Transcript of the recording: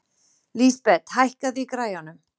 Lísabet, hækkaðu í græjunum.